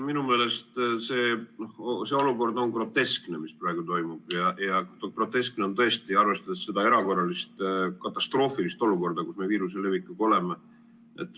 Minu meelest see olukord on groteskne, mis praegu toimub, groteskne, arvestades seda erakorralist, katastroofilist olukorda, kus me viiruse levikuga oleme.